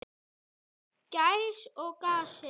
Gæs og gassi.